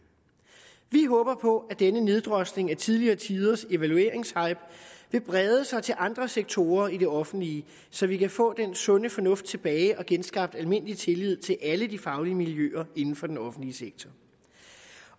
vi håber på at denne neddrosling af tidligere tiders evalueringshype vil brede sig til andre sektorer i det offentlige så vi kan få den sunde fornuft tilbage og få genskabt almindelig tillid til alle de faglige miljøer inden for den offentlige sektor